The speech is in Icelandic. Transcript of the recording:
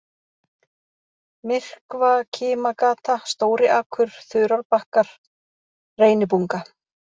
Myrkvakimagata, Stóriakur, Þurárbakkar, Reynibunga